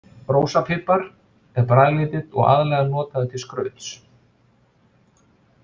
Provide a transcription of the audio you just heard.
Rósapipar er bragðlítill og aðallega notaður til skrauts.